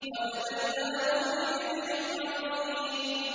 وَفَدَيْنَاهُ بِذِبْحٍ عَظِيمٍ